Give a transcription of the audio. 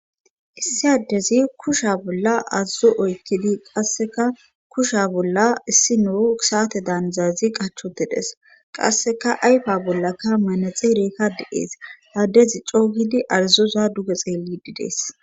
Issi addezi kusha bolla aazo oykkidi qasseka kusha bolla issi noo saate daanzazi qachotedes qasseka ayfa bollaka manaxereekka de7ees addezi co hidi arizoza duge xeelli didees.